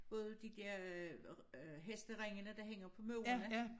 Både de øh hesteringene der hænger på murene